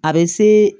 A bɛ se